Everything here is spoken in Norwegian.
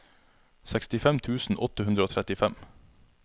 sekstifem tusen åtte hundre og trettifem